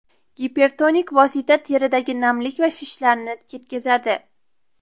Gipertonik vosita teridagi namlik va shishlarni ketkazadi.